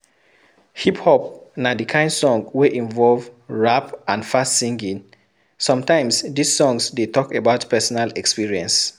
Hip hop na di kind song wey involve rap and fast singing, sometimes dis song dey talk about personal experience